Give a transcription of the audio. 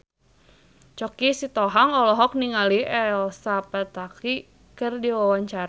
Choky Sitohang olohok ningali Elsa Pataky keur diwawancara